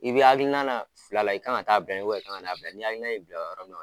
I bɛ hakilina fila i ka kan taa bɛɛ i ka kan na bɛɛ, ni hakilina i bila yɔrɔ min